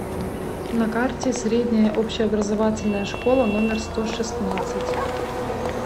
на карте средняя общеобразовательная школа номер сто шестнадцать